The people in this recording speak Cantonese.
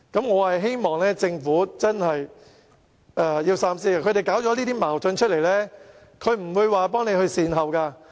我希望政府真正能夠三思，上述人士挑起這些矛盾後，絕不會幫忙做善後工作。